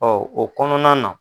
o kɔnɔna na